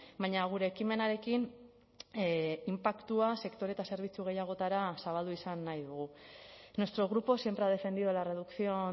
baina gure ekimenarekin inpaktua sektore eta zerbitzu gehiagotara zabaldu izan nahi dugu nuestro grupo siempre ha defendido la reducción